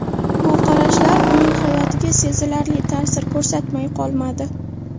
Bu qarashlar uning hayotiga sezilarli ta’sir ko‘rsatmay qolmadi.